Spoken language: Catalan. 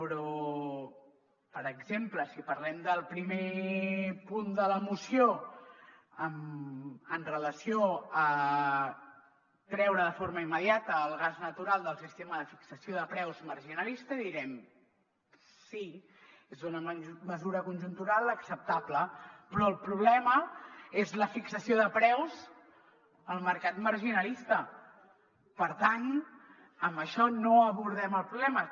però per exemple si parlem del primer punt de la moció amb relació a treure de forma immediata el gas natural del sistema de fixació de preus marginalista direm sí és una mesura conjuntural acceptable però el problema és la fixació de preus al mercat marginalista per tant amb això no abordem el problema